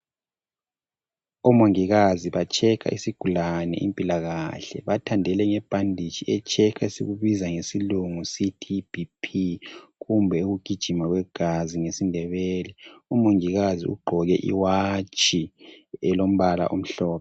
Omongikazi bahlola isigulane bamthandele ngebhanditshi ebizwa ngesilungu kuthiwa yiBP kumbe ukugijima kwegazi ngesiNdebele. Umongikazi ugqoke inkombalanga elombala omhlophe.